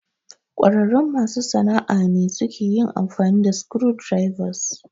ƙwararrun masu sana'a ne suke yin amfani da screwdrivers.